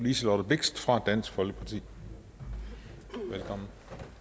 liselott blixt fra dansk folkeparti velkommen